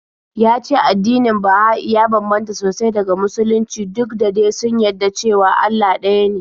Ya ce addinin Baha'i ya bambanta sosai daga Musulunci duk da de sun yadda cewa Allah ɗaya ne.